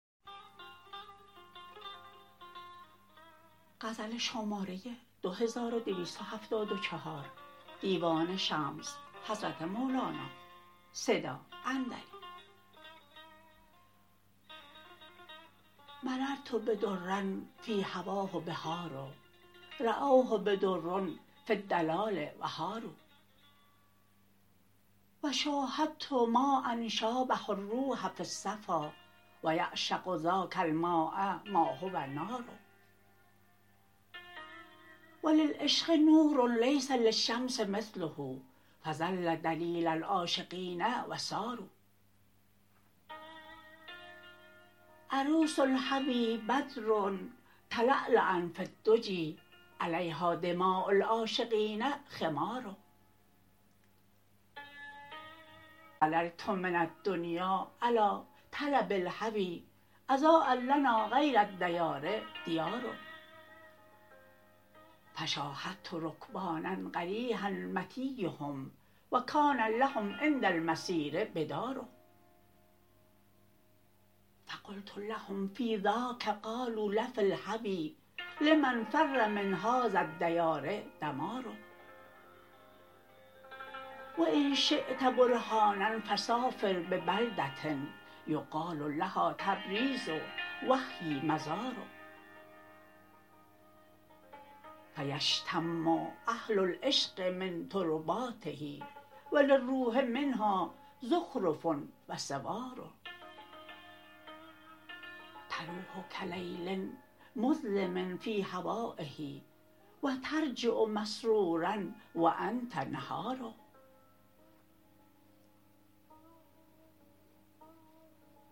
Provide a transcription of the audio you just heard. مررت بدر فی هواه بحار راوه بدر و فی الدلال و حاروا و شاهدت ماء شابه الروح فی الصفا و یعشق ذاک الماء ما هو نار و للعشق نور لیس للشمس مثله فظل دلیل العاشقین و ساروا عروس الهوی بدر تلالا فی الدجی علیها دماء العاشقین خمار ظللت من الدنیا علی طلب الهوی اضاء لنا غیر الدیار دیار فشاهدت رکبانا قریحا مطیهم و کان لهم عند المسیر بدار فقلت لهم فی ذاک قالوا لفی الهوی لمن فر من هذا الدیار دمار و ان شیت برهانا فسافر ببلده یقال لها تبریز و هی مزار فیشتم اهل العشق من ترباته و للروح منها زخرف و سوار تروح کلیل مظلم فی هوایه و ترجع مسرورا و انت نهار